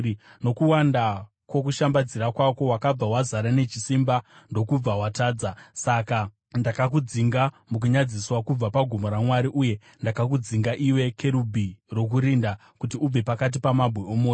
Nokuwanda kwokushambadzira kwako wakabva wazara nechisimba, ndokubva watadza. Saka ndakakudzinga mukunyadziswa kubva pagomo raMwari, uye ndakakudzinga, iwe kerubhi rokurinda, kuti ubve pakati pamabwe omoto.